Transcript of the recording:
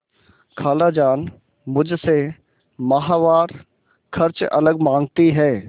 खालाजान मुझसे माहवार खर्च अलग माँगती हैं